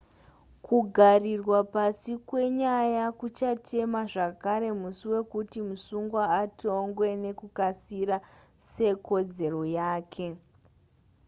kugarirwa pasi kwenyaya kuchatema zvakare musi wekuti musungwa atongwe nekukasira sekodzero yake